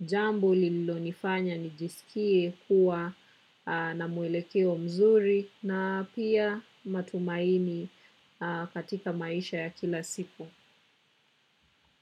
Jambo lilonifanya nijisikie kuwa na mwelekeo mzuri na pia matumaini katika maisha ya kila siku.